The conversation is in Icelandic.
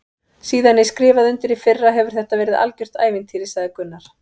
Síðan ég skrifaði undir í fyrra hefur þetta verið algjört ævintýri sagði Gunnar.